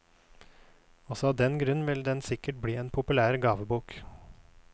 Også av den grunn vil den sikkert bli en populær gavebok.